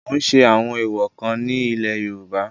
ó ń ṣe àwọn èwọ̀ kan ní ilẹ̀ yorùbá